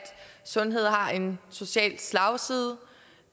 sundhed har en social slagside